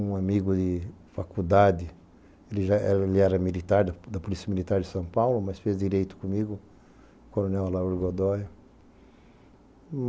Um amigo de faculdade, ele já era militar, da Polícia Militar de São Paulo, mas fez direito comigo, o coronel Alauro Godói.